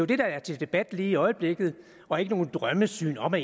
det der er til debat lige i øjeblikket og ikke noget drømmesyn om at